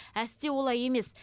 әсте олай емес